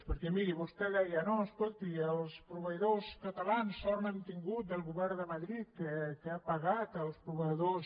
perquè miri vostè deia no escolti els proveïdors catalans sort n’han tingut del govern de madrid que ha pagat els proveïdors